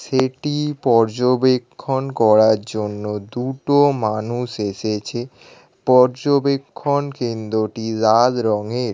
সেটি পর্যবেক্ষন করার জন্য দুটো মানুষ এসেছে। পর্যবেক্ষণ কেন্দ্র টি লাল রঙের।